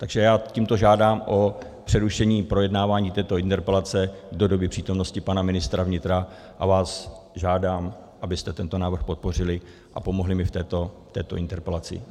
Takže já tímto žádám o přerušení projednávání této interpelace do doby přítomnosti pana ministra vnitra a vás žádám, abyste tento návrh podpořili a pomohli mi v této interpelaci.